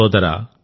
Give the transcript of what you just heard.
సోదరా